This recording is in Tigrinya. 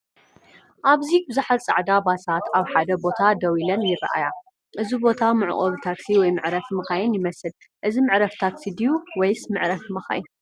ኣብዚ ብዙሓት ጻዕዳ ባሳት ኣብ ሓደ ቦታ ደው ኢለን ይርኣያ። እዚ ቦታ መዕቆቢ ታክሲ ወይ መዕረፊ መካይን ይመስል። እዚ መዕረፊ ታክሲ ድዩ ወይስ መዕረፊ መካይን?